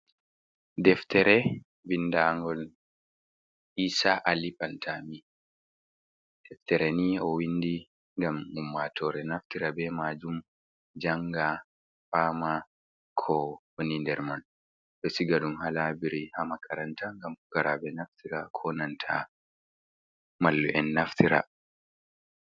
Deftere binda ngol isa ali pantami, deftere ni owindi ngam ummatore naftira be majum janga, pama ko wani nder man, ɗo siga ɗum ha laibirari ha makaranta ngam pukarabe naftira ko nanta mallu’en naftira.